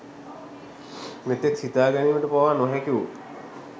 මෙතෙක් සිතාගැනීමට පවා නොහැකිවූ